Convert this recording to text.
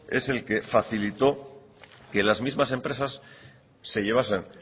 es el que facilitó que las mismas empresas se llevasen